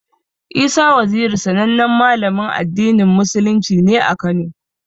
Isa Waziri sanannen Malamin addinin musulunci ne a Kano.